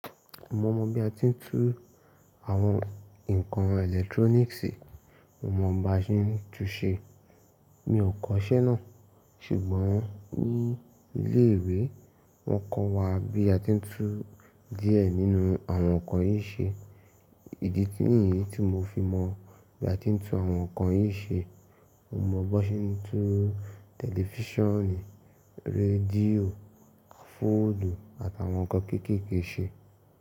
Mo mọ bi a ti ń tú àwọn ǹkan electronics, mo mọ bí a ṣe ńtú ṣe. Mi ò kọ́ṣẹ́ náà, ṣùgbọ́n ní ilé ìwé wọ́n kọ́ wa bí a ti ń tú díẹ̀ nínú àwọn ǹkan yìí ṣe. Ìdí nìyí tí mo fi mọ̀ bí a ti ń tú àwọn ǹkan yìí ṣe. Mo mọ bí wọ́n ṣe ń tú tẹlifíṣàn, rédíò, fóònù àtàwọn ǹkan kéékèèké ṣe.